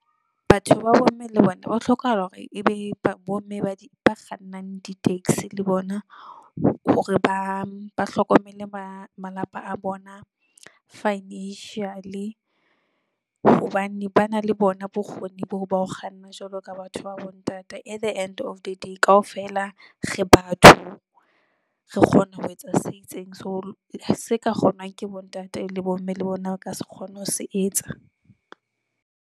Batho ba bomme le bona ho hlokahala hore ebe bomme ba kgannang di-taxi le bona hore ba, ba hlokomele malapa a bona financially hobane ba na le bona bokgoni boo ba ho kganna jwalo ka batho ba bontate. At the end of the day. Kaofela re batho re kgona ho etsa se itseng, so se ka kgonwang ke bontate le bomme le bona ba se kgone ho se etsa.